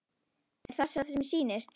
Er það sem mér sýnist?